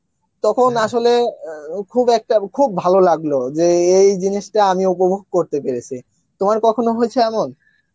তখন আসলে, অ্যাঁ খুব একটা খুব ভালো লাগলো যে এই জিনিষটা আমি উপভোগ করতে অএরেছে, তোমার কখনো হয়েছে এমন